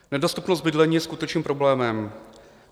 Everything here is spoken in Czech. Nedostupnost bydlení je skutečným problémem.